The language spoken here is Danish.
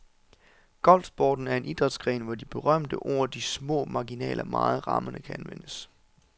Golfsporten er en idrætsgren, hvor de berømte ord de små marginaler meget rammende kan anvendes.